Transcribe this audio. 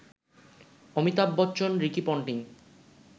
Amitabh Bachchan, Ricky Ponting